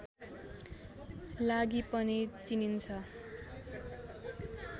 लागि पनि चिनिन्छ